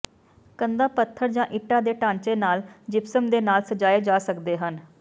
ਕੰਧਾਂ ਪੱਥਰ ਜਾਂ ਇੱਟਾਂ ਦੇ ਢਾਂਚੇ ਨਾਲ ਜਿਪਸਮ ਦੇ ਨਾਲ ਸਜਾਏ ਜਾ ਸਕਦੇ ਹਨ